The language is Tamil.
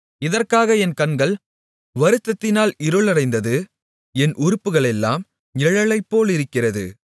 இதற்காக என் கண்கள் வருத்தத்தினால் இருளடைந்தது என் உறுப்புகளெல்லாம் நிழலைப்போலிருக்கிறது